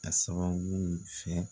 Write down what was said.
A sababu fɛ